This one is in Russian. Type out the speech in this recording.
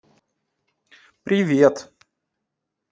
привет